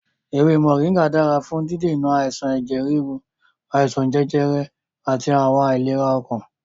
Ewé Mọ̀ríngà dára fún dídènà àìsàn ẹ̀jẹ̀ ríru, àìsàn jẹjẹrẹ àti àwọn àìlera ọkàn.